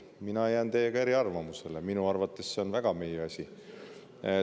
Mina jään eriarvamusele, minu arvates on see väga meie asi.